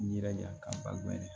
N yirija ka ba mɛn